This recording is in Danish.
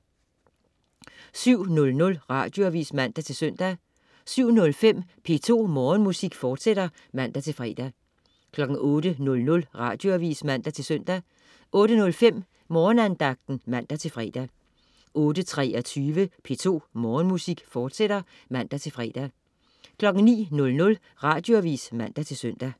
07.00 Radioavis (man-søn) 07.05 P2 Morgenmusik, fortsat (man-fre) 08.00 Radioavis (man-søn) 08.05 Morgenandagten (man-fre) 08.23 P2 Morgenmusik, fortsat (man-fre) 09.00 Radioavis (man-søn)